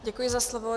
Děkuji za slovo.